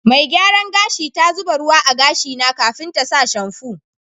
Mai gyaran gashi ta zuba ruwa a'gashi na kafin ta sa shamfu.